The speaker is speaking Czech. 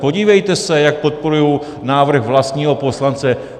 Podívejte se, jak podporují návrh vlastního poslance.